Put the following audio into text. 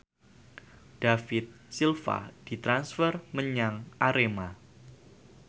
David Silva ditransfer menyang Arema